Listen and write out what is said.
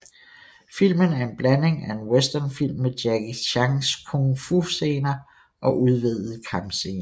Filmen er en blanding af en westernfilm med Jackie Chans Kung Fu scener og udvidede kampscener